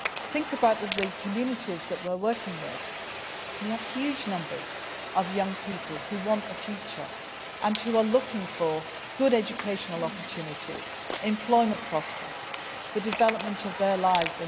Think about the communities that we are working with, where there are huge numbers of young people who want a future and are looking for good educational opportunities, employment prospects, and the future development of their